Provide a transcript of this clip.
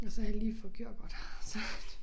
Og så havde jeg lige fået kørekort så